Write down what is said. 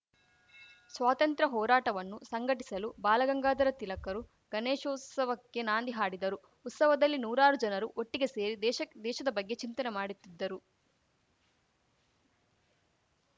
ಸ್ವಾತಂತ್ರ್ಯ ಹೋರಾಟವನ್ನು ಸಂಘಟಿಸಲು ಬಾಲಗಂಗಾಧರ ತಿಲಕರು ಗಣೇಶೋತ್ಸವಕ್ಕೆ ನಾಂದಿ ಹಾಡಿದರು ಉತ್ಸವದಲ್ಲಿ ನೂರಾರು ಜನರು ಒಟ್ಟಿಗೆ ಸೇರಿ ದೇಶಕ್ ದೇಶದ ಬಗ್ಗೆ ಚಿಂತನೆ ಮಾಡುತ್ತಿದ್ದರು